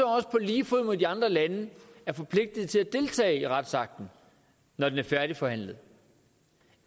også på lige fod med de andre lande forpligtet til at deltage i retsakten når den er færdigforhandlet